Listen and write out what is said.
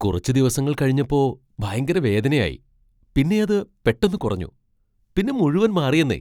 കുറച്ച് ദിവസങ്ങൾ കഴിഞപ്പോ ഭയങ്കര വേദനയായി, പിന്നെ അത് പെട്ടെന്ന് കുറഞ്ഞു, പിന്നെ മുഴുവൻ മാറിയെന്നേ!